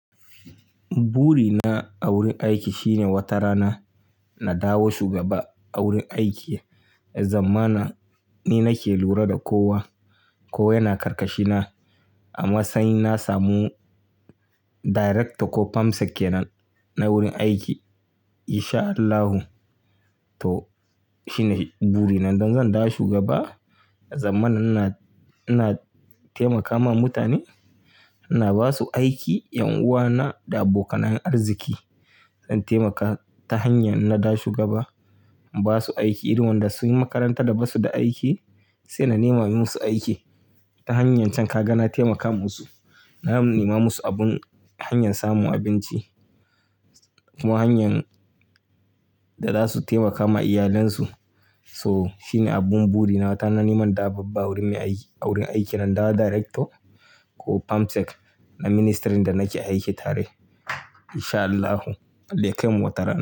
Buri na a wurin aiki shine wata rana na dawo shugaba a wurin aiki. Zamana ni nake lura da kowa, kowa yana karkashina. Amma sanyi na samu director ko permsec kenan na wurin aiki in sha Allahu. Toh shi ne buri na. Don zan dawo shugaba, zamana ina, ina taimakawa mutane, ina basu aiki 'yan uwana da abokanayen arziki. Zan taimaka ta hanyar na dawo shugaba in basu aiki irin wanda sunyi makaranta da basu da aiki sai na nema musu aiki ta hanyar can. Ka ga na taimaka musu, na nema musu abun hanyar samun abinci kuma hanyan da za su taimakama iyalansu. So shi ne abun buri na. Ta na neman dawo babba a wurin mai aiki, a wurin aiki na. Na dawo director ko permsec na ministirin da nake aiki tare in sha Allahu. Allah ya kai mu wata rana.